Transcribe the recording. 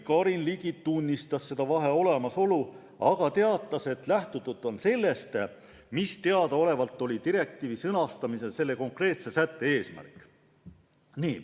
Karin Ligi tunnistas selle vahe olemasolu, aga teatas, et lähtutud on sellest, mis teadaolevalt oli direktiivi sõnastamisel selle konkreetse sätte eesmärk.